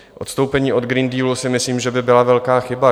Odstoupení od Green Dealu si myslím, že by byla velká chyba.